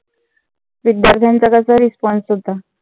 विध्यार्थ्यांचा कसा response होता.